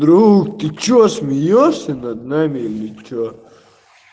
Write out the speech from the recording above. друг ты что смеёшься над нами или что